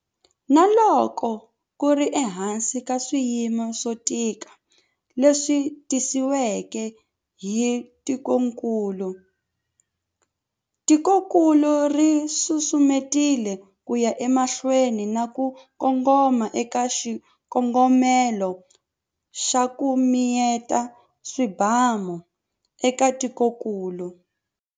Na loko ku ri ehansi ka swiyimo swo tika leswi tisiweke hi ntungukulu, tikokulu ri susumetile ku ya emahlweni na ku kongoma eka xikongomelo xa 'ku mi yeta swibamu' eka tikokulu.